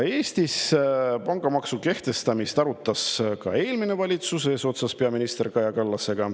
Eestis arutas pangamaksu kehtestamist eelmine valitsus eesotsas peaminister Kaja Kallasega.